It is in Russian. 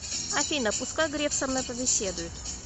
афина пускай греф со мной побеседует